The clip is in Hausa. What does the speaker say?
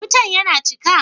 Wutan ya cika?